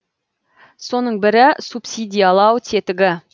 соның бірі субсидиялау тетігі